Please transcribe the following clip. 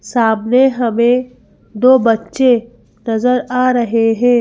सामने हमें दो बच्चे नजर आ रहे है।